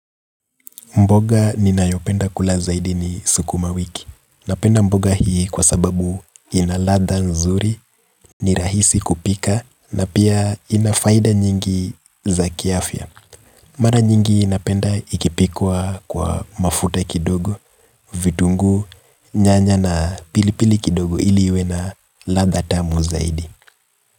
Mboga ni nayopenda kula zaidi ni sukuma wiki. Napenda mboga hii kwa sababu inaladha nzuri, ni rahisi kupika na pia inafaida nyingi za kiafya. Mara nyingi napenda ikipikwa kwa mafuta kidogo, vitungu, nyanya na pilipili kidogo ili iwe na ladha tamu zaidi.